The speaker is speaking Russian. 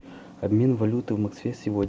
обмен валюты в москве сегодня